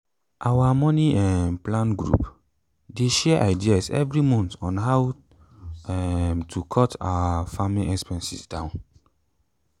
our money um plan group dey share ideas every month on how um to cut our farming expenses down